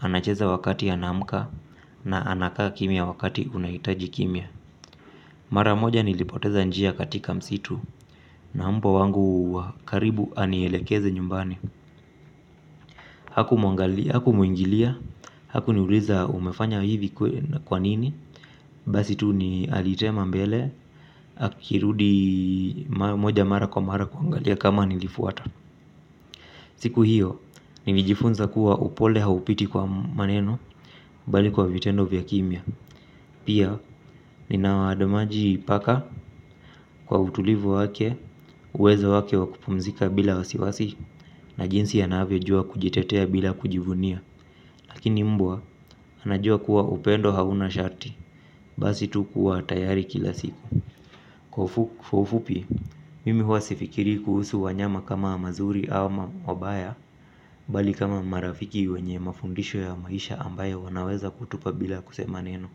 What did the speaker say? anacheza wakati anamka, na anakaa kimya wakati unaitaji kimya. Mara moja nilipoteza njia katika msitu na mbwa wangu karibu anielekeze nyumbani. Hakumwingilia, haku niuliza umefanya hivi kwanini. Basi tu ni alitema mbele, akirudi moja mara kwa mara kuangalia kama nilifuata. Siku hiyo, nilijifunza kuwa upole haupiti kwa maneno bali kwa vitendo vya kimia. Pia, ninawaadamaji paka kwa utulivu wake, uwezo wake wakupumzika bila wasiwasi, na jinsi anavyo jua kujitetea bila kujivunia. Lakini mbwa, anajua kuwa upendo hauna shati, basi tu kuwa tayari kila siku. Kwa ufupi, mimi huwa sifikiri kuhusu wanyama kama mazuri au mabaya, bali kama marafiki wenye mafundisho ya maisha ambayo wanaweza kutupa bila kusema neno.